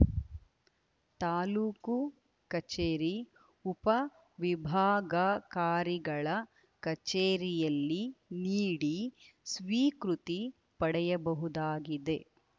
ತಾಲೂಕು ಕಚೇರಿ ಉಪವಿಭಾಗಾಕಾರಿಗಳ ಕಚೇರಿಯಲ್ಲಿ ನೀಡಿ ಸ್ವೀಕೃತಿ ಪಡೆಯಬಹುದಾಗಿದೆ